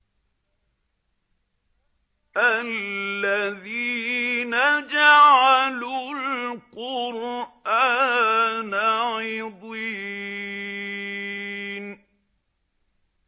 الَّذِينَ جَعَلُوا الْقُرْآنَ عِضِينَ